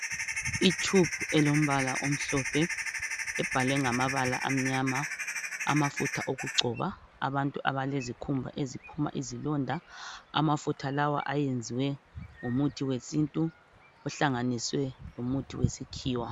Itshubhu elombala omhlophe ebhalwe ngamabala amnyama. Amafutha okugcoba abantu abalezikhumba eziphuma izilonda. Amafutha lawa ayenziwe ngomuthi wesintu ohlanganiswe lomuthi wesikhiwa